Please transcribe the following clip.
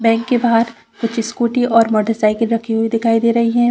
Bank के बहार कुछ स्कूटी और मोटरसाइकिल रखी हुई दिखाई दे रही हैं।